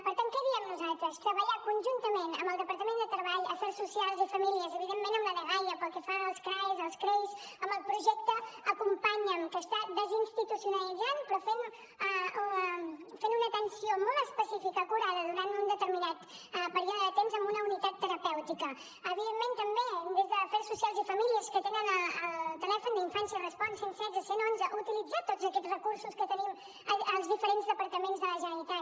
per tant què hi diem nosaltres treballar conjuntament amb el departament de treball afers socials i famílies evidentment amb la dgaia pel que fa als craes als creis amb el projecte acompanya’m que està desinstitucionalitzant però fent una atenció molt especifica acurada durant un determinat període de temps amb una unitat terapèutica evidentment també des d’afers socials i famílies que tenen el telèfon d’infància respon cent i setze cent i onze utilitzar tots aquest recursos que tenim als diferents departaments de la generalitat